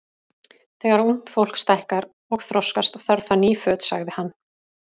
Þegar ungt fólk stækkar og þroskast, þarf það ný föt sagði hann.